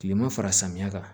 Kilema fara samiya kan